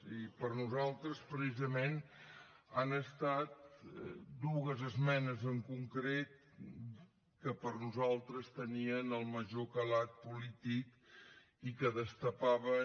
i precisament han estat dues esmenes en concret que per nosaltres tenien el major calat polític i que destapaven